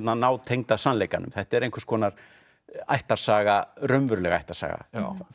nátengda sannleikanum þetta er einhvers konar ættarsaga raunveruleg ættarsaga